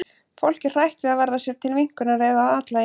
Fólk er hrætt við að verða sér til minnkunar eða að athlægi.